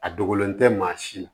A dogolen tɛ maa si ma